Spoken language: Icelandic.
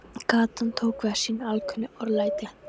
Gatan tók við af sínu alkunna örlæti.